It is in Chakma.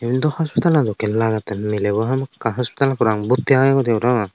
yan do hospitalo dokkey lagettey miley bo hamakkai hospitalot parapang borti agegoidey parapang.